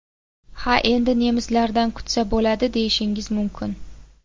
Ha endi nemislardan kutsa bo‘ladi, deyishingiz mumkin.